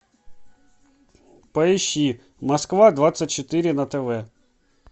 поищи москва двадцать четыре на тв